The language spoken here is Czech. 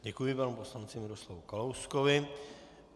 Děkuji panu poslanci Miroslavu Kalouskovi.